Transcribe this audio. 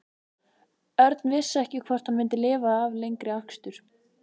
Örn vissi ekki hvort hann myndi lifa af lengri akstur.